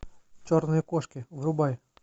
черные кошки врубай